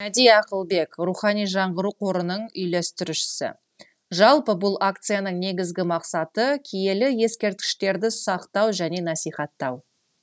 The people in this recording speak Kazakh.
мәди ақылбек рухани жаңғыру қорының үйлестірушісі жалпы бұл акцияның негізгі мақсаты киелі ескерткіштерді сақтау және насихаттау